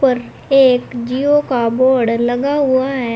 ऊपर एक जिओ का बोर्ड लगा हुआ है।